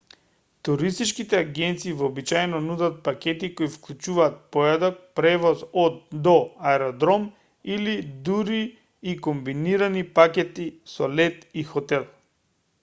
туристичките агенции вообичаено нудат пакети кои вклучуваат појадок превоз од/до аеродром или дури и комбинирани пакети со лет и хотел